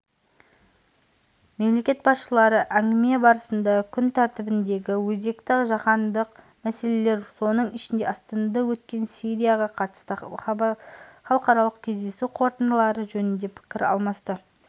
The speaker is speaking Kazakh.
мемлекет басшылары әңгіме барысында күн тәртібіндегі өзекті жаһандық мәселелер соның ішінде астанада өткен сирияға қатысты халықаралық кездесу қорытындылары жөнінде пікір алмасты